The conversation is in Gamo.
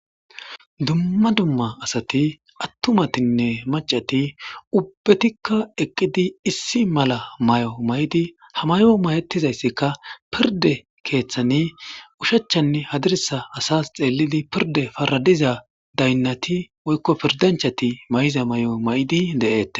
Dumma dumma asati atumatinne macati ubbatika eqidi issi mala mayo mayid ha mayo mayetidaysika pirde kethan oshachanne njadirsa xelidi pirde asas paradiza pirde dayinati woykon pirdanchati mayiza mayo mayid de'etes